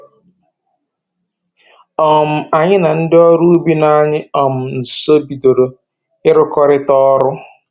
um Anyị na ndị ọrụ ubi nọ anyị um nsọ bidoro ịrụkọrịta ọrụ